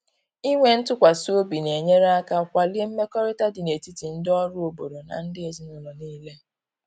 Inwe ntụkwasị obi na-enyere aka kwalie mmekọrịta dị n’etiti ndị ọrụ obodo na ndị ezinụlọ niile.